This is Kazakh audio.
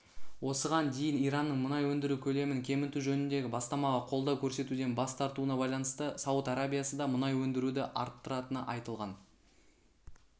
осыған дейін иранның мұнай өндіру көлемін кеміту жөніндегі бастамаға қолдау көрсетуден бас тартуына байланысты сауд арабиясы да мұнай өндіруді арттыратыны айтылған